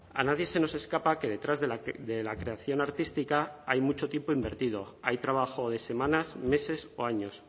a nadie se nos escapa que detrás de la creación artística hay mucho tiempo invertido hay trabajo de semanas meses o años